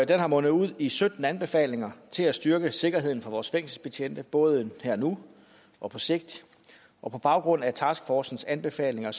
er mundet ud i sytten anbefalinger til at styrke sikkerheden for vores fængselsbetjente både her og nu og på sigt og på baggrund af taskforcens anbefalinger